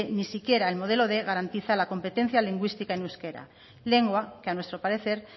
ni siquiera el modelo quinientos garantiza la competencia lingüística en euskera lengua que a nuestro parecer